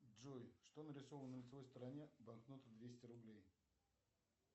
джой что нарисовано на лицевой стороне банкноты двести рублей